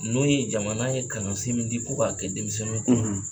N'o ye jamana in kalansen min di ko k'a kɛ denmisɛnninw kun